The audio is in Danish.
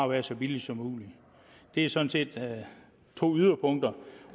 være så billig som muligt det er sådan set to yderpunkter